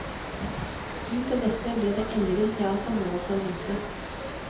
Ut av dette blir det ellevill teatermoro for de minste.